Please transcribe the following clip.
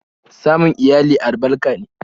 Samun iyali albarka ne